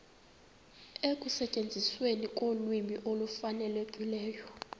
ekusetyenzisweni kolwimi olufanelekileyo